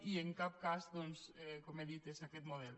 i en cap cas doncs com he dit és aquest model